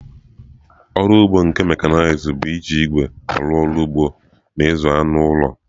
Ọrụ ugbo nke mekanized bụ iji igwe arụ ọrụ ugbo na ịzụ anụ ụlọ.